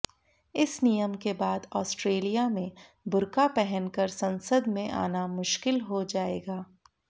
इस नियम के बाद आस्ट्रेलिया में बुर्का पहनकर संसद में आना मुश्किल हो जाएगा